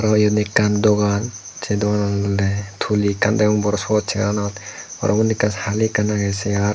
aro iyot ekkan dogan se dogananot olode tuli ekkan degong bor sugej chair anot aro undi ekkan hali ekkan agey chair.